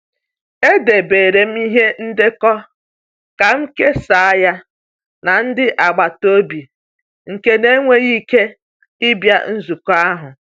Edebere m ihe ndekọ ka m kesaa ya na ndị agbata obi nke n'enweghi ike ịbịa nzukọ ahụ.